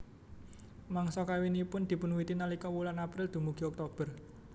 Mangsa kawinipun dipunwiwiti nalika wulan April dumugi Oktober